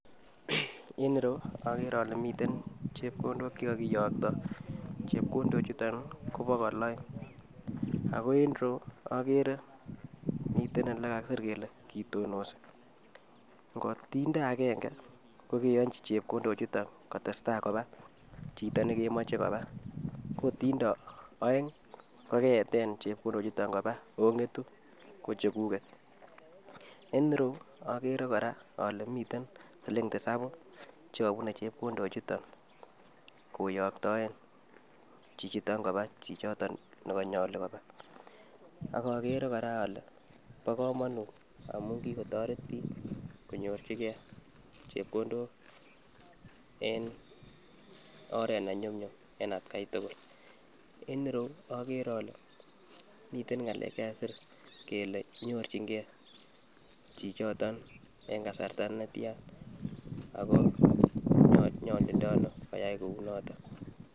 en ireyuu okere ole miten chepkondok chekokoyokto, chepkondok chuton nii ko bokol oeng ako en ireyuu oker miten ole kakisir kel kitonosi kotinde agenge ko keyonchi chepkondok chuton kotestai koba chito nekemoche koba ko kotinde oeng kokeyeten chepkondok chuton koba oketu ko chekuget. En ireyuu okere koraa ole miten siling tisabu chekobune chekondok chuton koyoktoen chichiton koba chichiton nekonyolu koba, ak oker koraa ole bo komonut amun kikotoret bik konyorchigee chepkondok en oret nenyumyum en atgai tukul. En ireyuu oker ole miten ngalek chekakisir kele nyorchin gee chichoton en kasarta netian ako nyolundono koyai kou noton.